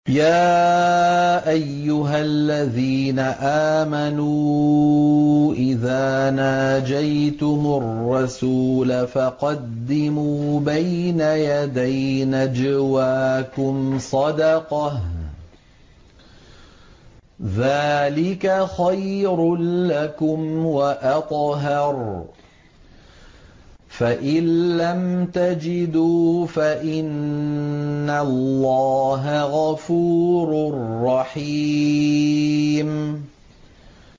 يَا أَيُّهَا الَّذِينَ آمَنُوا إِذَا نَاجَيْتُمُ الرَّسُولَ فَقَدِّمُوا بَيْنَ يَدَيْ نَجْوَاكُمْ صَدَقَةً ۚ ذَٰلِكَ خَيْرٌ لَّكُمْ وَأَطْهَرُ ۚ فَإِن لَّمْ تَجِدُوا فَإِنَّ اللَّهَ غَفُورٌ رَّحِيمٌ